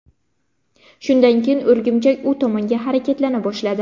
Shundan keyin o‘rgimchak u tomonga harakatlana boshladi.